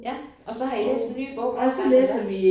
Ja. Og så har I læst en ny bog hver gange eller hvad?